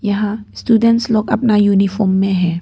यहाँ स्टूडेंट्स लोग अपना यूनिफॉर्म में है।